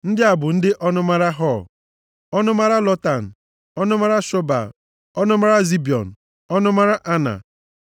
Ndị a bụ ndị ọnụmara Hor, ọnụmara Lotan, ọnụmara Shobal, ọnụmara Zibiọn, ọnụmara Ana,